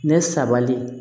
Ne sabali